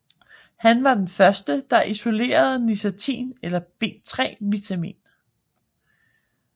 Han var den første der isolerede niacin eller B3 vitamin